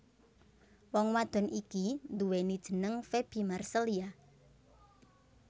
Wong wadon iki nduweni jeneng Faby Marcelia